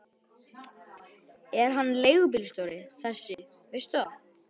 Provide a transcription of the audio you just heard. Er hann leigubílstjóri þessi, veistu það?